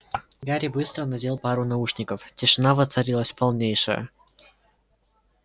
гарри быстро надел пару наушников тишина воцарилась полнейшая